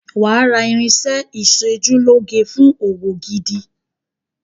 Wàá ra irinṣẹ́ ẹ ìṣojúlóge fún òwò gidi.